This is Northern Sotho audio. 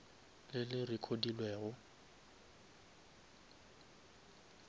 le le recodilwego